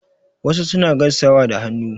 Wasu suna gaisawa da hannu.